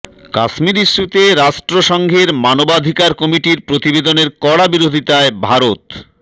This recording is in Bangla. কাশ্মীর ইস্যুতে রাষ্ট্রসংঘের মানবাধিকার কমিটির প্রতিবেদনের কড়া বিরোধিতায় ভারত